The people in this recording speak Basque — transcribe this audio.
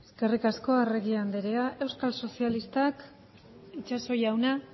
eskerrik asko arregi andrea euskal sozialistak itxaso jauna